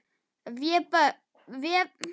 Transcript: Vébjörg, lækkaðu í græjunum.